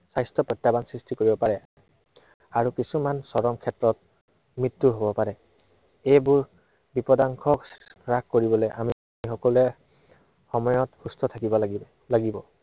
স্বাস্থ্য় সৃষ্টি কৰিব পাৰে। আৰু কিছুমান চৰম ক্ষেত্ৰত মৃত্য়ুও হব পাৰে। এইবোৰ বিপদাংশ হ্ৰাস কৰিবলৈ আমি সকলে সময়ত সুস্থ থাকিব লাগিব।